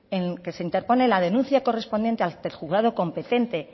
en que se interpone la denuncia correspondiente ante el juzgado competente